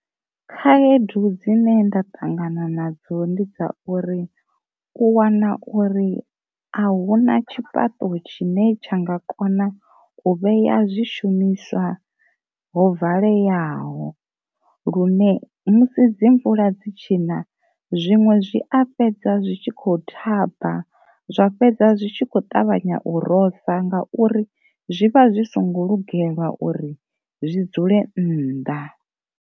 Khaedu dzine nda ṱangana nadzo ndi dza uri u wana uri a hu na tshifhaṱo tshine tsha nga kona u vheya zwi shumiswa ho valeyaho, lune musi dzi mvula dzi tshi na zwiṅwe zwi a fhedza zwi tshi kho thaba, zwa fhedza zwi tshi kho ṱavhanya u rosa nga uri zwi vha zwi songo lugela uri zwi dzule nnḓa.